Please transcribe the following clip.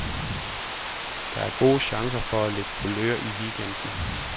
Der er gode chancer for at få lidt kulør i weekenden.